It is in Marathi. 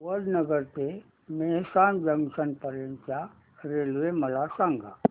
वडनगर ते मेहसाणा जंक्शन पर्यंत च्या रेल्वे मला सांगा